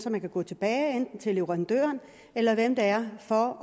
at man kan gå tilbage enten til leverandøren eller hvem det er for